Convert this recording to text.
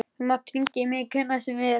Þú mátt hringja í mig hvenær sem er.